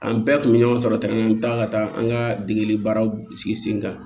An bɛɛ kun bɛ ɲɔgɔn sɔrɔ tɛmɛ an bɛ taa ka taa an ka degeli baaraw sigi sen kan